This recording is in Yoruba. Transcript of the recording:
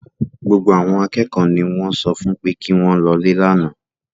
Gbogbo àwọn akẹ́kọ̀ọ́ ni wọ́n sọ fún pé kí wọ́n lọlé lánàá